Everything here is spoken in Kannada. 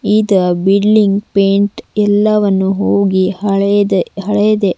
ಇದ ಬಿಲ್ಡಿಂಗ್ ಪೇಂಟ್ ಎಲ್ಲವನ್ನು ಹೋಗಿ ಹಳೆದೆ ಹಳೆದೆ--